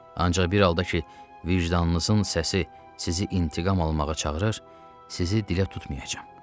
Ancaq bir halda ki, vicdanınızın səsi sizi intiqam almağa çağırır, sizi dilə tutmayacam.